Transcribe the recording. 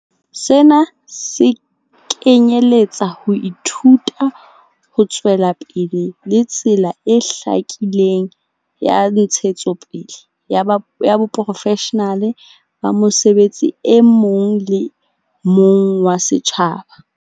Sena se kenyeletsa ho ithuta ho tswelapele le tsela e hlakileng ya ntshetsopele ya boprofeshenale ba mosebetsi e mong le mong wa setjhaba.